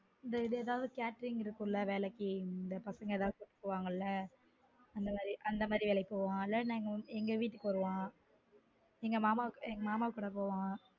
இந்த இது catering இருக்கும் ல வேலைக்கு அந்த பசங்க ஏதாவது கூப்புடுவாங்கல அந்த மாதிரி வேலைக்கு போவான் அல்ல எங்க வீட்டுக்கு வருவான் எங்க மாமா எங்க மாமா கூட போவான்